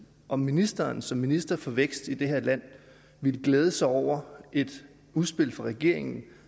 om ministeren som minister for vækst i det her land ville glæde sig over et udspil fra regeringen